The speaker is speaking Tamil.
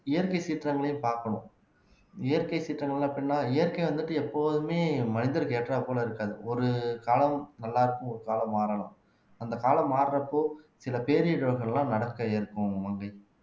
இயற்கை சீற்றங்களையும் பாக்கணும் இயற்கை சீற்றங்கள் அப்படின்னா இயற்கை வந்துட்டு எப்போதுமே மனிதருக்கு ஏற்றாற்போல இருக்காது ஒரு காலம் நல்லா இருக்கும் ஒரு காலம் மாறலாம் அந்த காலம் மாறுறப்போ சில பேரிழப்புகள் எல்லாம் நடக்க இருக்கும் மங்கை